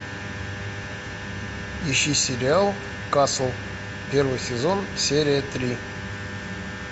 ищи сериал касл первый сезон серия три